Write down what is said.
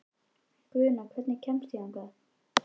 Guðna, hvernig kemst ég þangað?